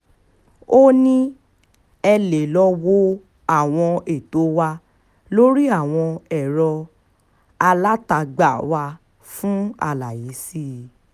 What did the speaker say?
ó ní ẹ lè lọ́ọ́ wo àwọn ètò wa lórí àwọn ẹ̀rọ alátagbà wa fún àlàyé sí i